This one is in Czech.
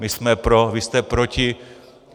My jsme pro, vy jste proti.